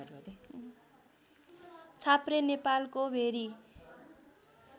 छाप्रे नेपालको भेरी